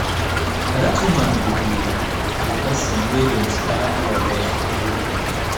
na dat woman be the the person wey dey inspire all of us to do beta